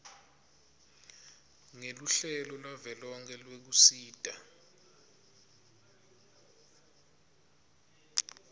ngeluhlelo lwavelonkhe lwekusita